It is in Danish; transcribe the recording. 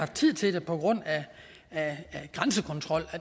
tid til det på grund af grænsekontrol